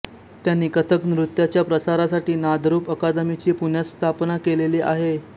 त्यांनी कथक नृत्याच्या प्रसारासाठी नादरूप अकादमीची पुण्यात स्थापना केलेली आहे